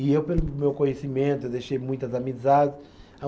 E eu, pelo meu conhecimento, deixei muitas amizades.